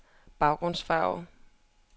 baggrundsfarve